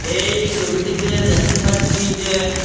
এই সবিটিতে দেখতে পাচ্ছি যে--